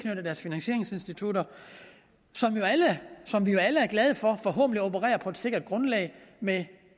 deres finansieringsinstitutter som vi jo alle er glade for forhåbentlig opererer på et sikkert grundlag med